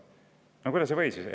No kuidas ei või?